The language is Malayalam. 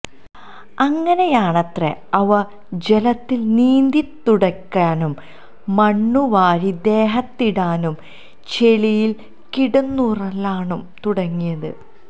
അങ്ങനെയാണത്രെ അവ ജലത്തില് നീന്തിത്തുടിക്കാനും മണ്ണു വാരി ദേഹത്തിടാനും ചെളിയില് കിടന്നുരുളാനും തുടങ്ങിയത്